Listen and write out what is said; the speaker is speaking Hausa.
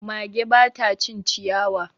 Mage ba ta cin ciyawa.